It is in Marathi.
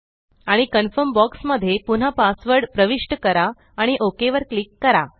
आणि कन्फर्म बॉक्स मध्ये पुन्हा पासवर्ड प्रविष्ट करा आणि ओक वर क्लिक करा